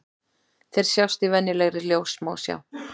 Þeir sjást í venjulegri ljóssmásjá.